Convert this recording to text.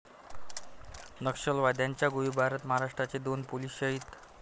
नक्षलवाद्यांच्या गोळीबारात महाराष्ट्राचे दोन पोलीस शहीद